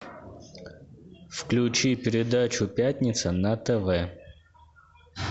включи передачу пятница на тв